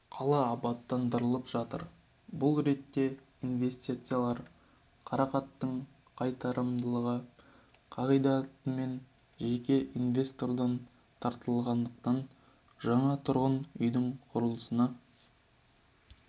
абаттандырылып жатыр бұл ретте инвестициялар қаражаттың қайтарымдылығы қағидатымен жеке инвестордан тартылатындықтан жаңа тұрғын үйдің құрылысына